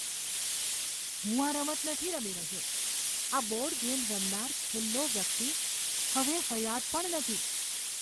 હું આ રમત નથી રમી રહ્યો. આ બોર્ડ ગેમ રમનાર છેલ્લો વ્યક્તિ હવે હયાત પણ નથી.